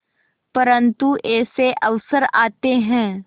परंतु ऐसे अवसर आते हैं